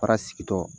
Fara sigitɔ